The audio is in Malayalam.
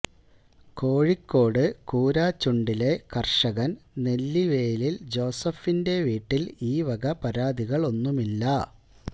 കോഴിക്കോട് കൂരാച്ചുണ്ടിലെ കര്ഷകന് നെല്ലിവേലില് ജോസഫിന്റെ വീട്ടില് ഈ വക പരാതികളൊന്നുമില്ല